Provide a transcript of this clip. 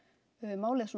málið